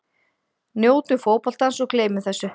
Njótum fótboltans og gleymum þessu.